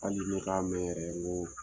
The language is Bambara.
Hali ne ka mɛn yɛrɛ n ko